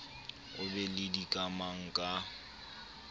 o be le dikamang ka